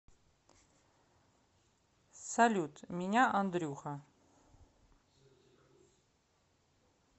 салют меня андрюха